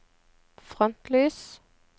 frontlys